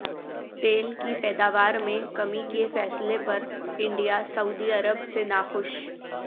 تیل کی پیداوار میں کمی کے فیصلے پر انڈیا سعودی عرب سے ناخوش